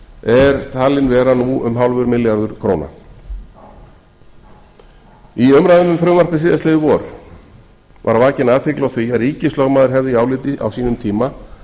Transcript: er talinn vera nú um hálfur milljarður króna í umræðum um frumvarpið síðastliðinn var var vakin athygli á því að ríkislögmaður hefði í áliti á sínum tíma